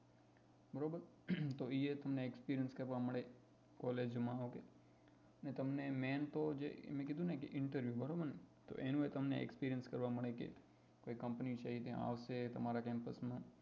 બરાબર તો એ તમને experience કરવા મળે collage હોવ કે ને તમને main તો તો જે મેં કીધું ને કે interview તો એનુય એ તમને experience કરવા મળશે કે એ company છે એ આવશે તમારા campuss માં